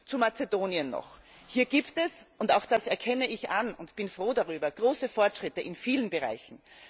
Zu Mazedonien Hier gibt es und auch das erkenne ich an und bin froh darüber große Fortschritte in vielen Bereichen.